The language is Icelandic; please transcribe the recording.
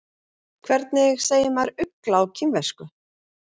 Hvernig segir maður ugla á kínversku?